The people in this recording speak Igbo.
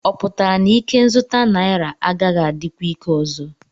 Ọ pụtara na ikenzụta naira agaghị adịkwa ike ọzọ?